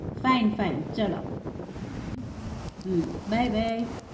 fine fine ચલો hmm by by